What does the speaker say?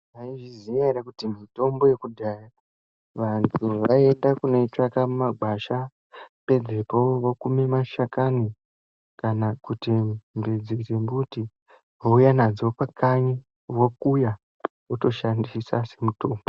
Maizviziya ere kuti mitombo yakudhaya antu aienda kunodzitsvaga mumagwasha pedzepo vokumi mashakani kana kuti mbidzi dzemiti vouya nadzo vokuya votoshandisa somutombo.